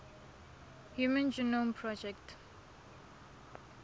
human genome project